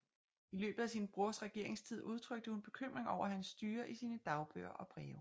I løbet af sin brors regeringstid udtrykte hun bekymring over hans styre i sine dagbøger og breve